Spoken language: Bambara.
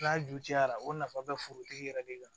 N'a jucɛra o nafa bɛ forotigi yɛrɛ de kan